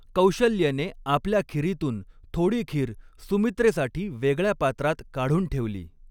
कौशल्येने आपल्या खिरीतून थोडी खीर सुमित्रेसाठी वेगळ्या पात्रात काढून ठेवली.